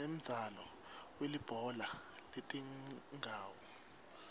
sinemdzalo welibhola letingawo